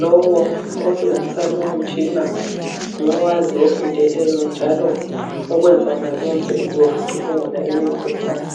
Lowo osebenzisa lowo mtshina ngowaziyo ofundeleyo njalo ukwenza wonalowo msebenzi wokucubungula lowo mkhuhlane.